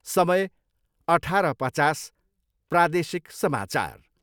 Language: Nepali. समय, अठार पचास, प्रादेशिक समाचार।